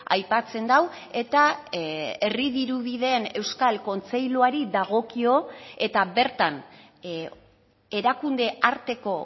aipatzen du eta herri dirubideen euskal kontseiluari dagokio eta bertan erakunde arteko